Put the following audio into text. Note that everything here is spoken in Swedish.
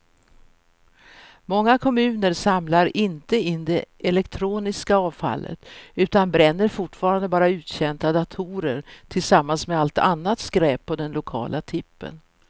Många kommuner samlar inte in det elektroniska avfallet utan bränner fortfarande bara uttjänta datorer tillsammans med allt annat skräp på den lokala tippen.